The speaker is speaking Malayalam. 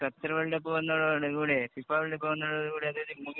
ഖത്തര്‍ വേള്‍ഡ് കപ്പ്‌ വന്നതോട് കൂടെ, ഫിഫാ വേള്‍ഡ് കപ്പ്‌ വന്നതോട്